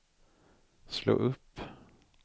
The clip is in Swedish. slå upp